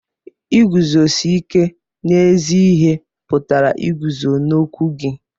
Iguzosi ike n'ezi ihe pụtara iguzo n'okwu gị.